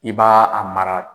I b'a a mara